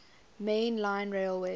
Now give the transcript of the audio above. main line railway